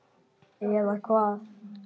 Eða hvað.?